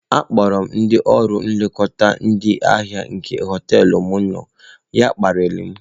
Akpọrọ m ndị ọrụ nlekọta ndị ahịa nke hoteelu m nọ, ya akparịa m.